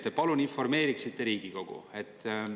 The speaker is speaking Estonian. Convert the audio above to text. Ma palun, et te informeeriksite Riigikogu.